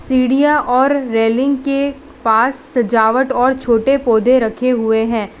सीढ़ियां और रेलिंग के पास सजावट और छोटे पौधे रखे हुएं हैं।